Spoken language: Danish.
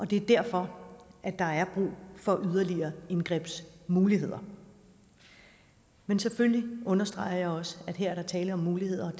det er derfor at der er brug for yderligere indgrebsmuligheder men selvfølgelig understreger jeg også at der her er tale om muligheder